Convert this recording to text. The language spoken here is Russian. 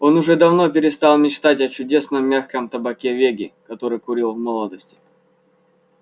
он уже давно перестал мечтать о чудесном мягком табаке веги который курил в молодости